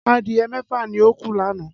Adìyẹ mẹ́fà ni ó kú lánàá